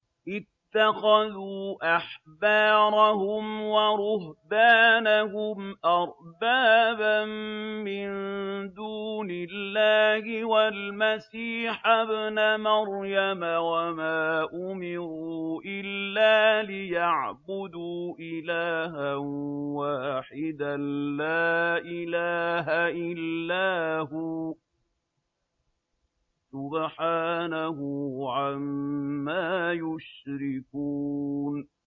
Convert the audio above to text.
اتَّخَذُوا أَحْبَارَهُمْ وَرُهْبَانَهُمْ أَرْبَابًا مِّن دُونِ اللَّهِ وَالْمَسِيحَ ابْنَ مَرْيَمَ وَمَا أُمِرُوا إِلَّا لِيَعْبُدُوا إِلَٰهًا وَاحِدًا ۖ لَّا إِلَٰهَ إِلَّا هُوَ ۚ سُبْحَانَهُ عَمَّا يُشْرِكُونَ